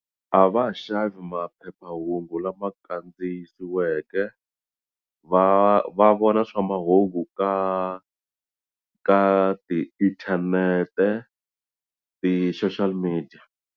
A va ha xavi maphephahungu lama kandziyisiweke va va vona swa mahungu ka ka ti inthanete ti-social media.